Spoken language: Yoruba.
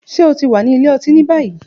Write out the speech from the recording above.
Ṣe o ti wa ni ile-oti ni bayi?